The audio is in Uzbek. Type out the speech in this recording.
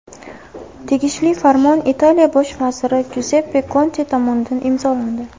Tegishli farmon Italiya bosh vaziri Juzeppe Konte tomonidan imzolandi.